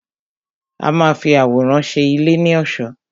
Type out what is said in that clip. A má a fi àwòrán ṣe ilé ní ọ̀ṣọ́.